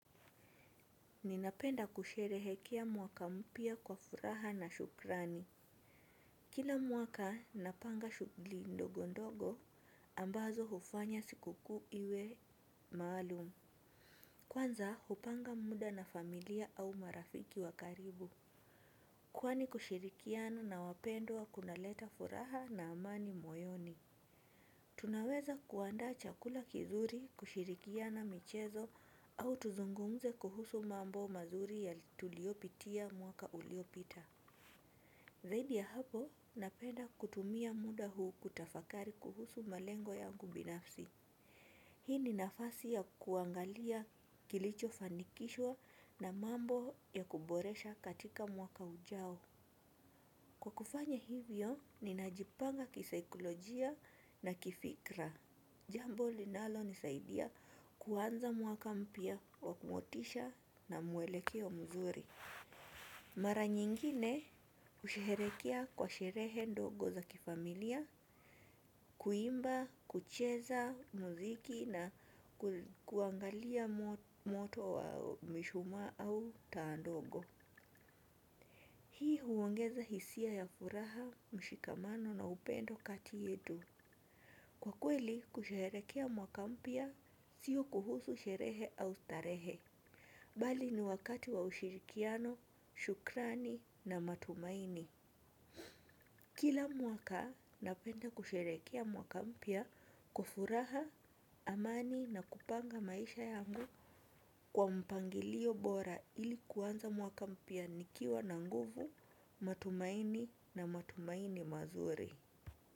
Ninapenda kusherehekea mwaka mpya kwa furaha na shukrani. Kila mwaka napanga shughuli ndogondogo ambazo hufanya siku kuu iwe maalum. Kwanza hupanga muda na familia au marafiki wa karibu. Kwani kushirikiana na wapendwa kunaleta furaha na amani moyoni. Tunaweza kuandaa chakula kizuri kushirikiana michezo au tuzungumze kuhusu mambo mazuri tuliopitia mwaka uliopita. Zaidi ya hapo napenda kutumia muda huu kutafakari kuhusu malengo yangu binafsi. Hii ni nafasi ya kuangalia kilicho fanikishwa na mambo ya kuboresha katika mwaka ujao. Kwa kufanya hivyo ninajipanga kisaikolojia na kifikra. Jambo linalo nisaidia kuaanza mwaka mpya wa kumotisha na muelekeo mzuri. Mara nyingine husherehekea kwa sherehe ndogo za kifamilia, kuimba, kucheza, muziki na kuangalia moto wa mishumaa au taa ndogo. Hii huongeza hisia ya furaha, mshikamano na upendo kati yetu. Kwa kweli, kusherehekea mwaka mpya sio kuhusu sherehe au starehe. Bali ni wakati wa ushirikiano, shukrani na matumaini. Kila mwaka napenda kusherehekea mwaka mpya kwa furaha, amani na kupanga maisha yangu kwa mpangilio bora ili kuanza mwaka mpya nikiwa na nguvu, matumaini na matumaini mazuri.